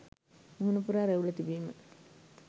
මුහුණ පුරා රැවුල තිබීම